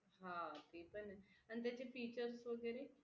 हा ते पण आहे आणि त्याचे features वगैरे